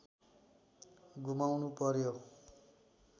गुमाउनु पर्‍यो